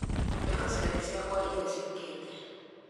andĩka ciathĩ ciakwa iria ciũkĩte